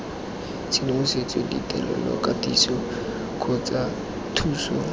tshedimosetso ditirelo katiso kgotsa thuso